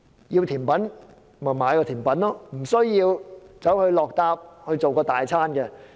要吃甜品單買甜品便可以了，無需要附加大餐。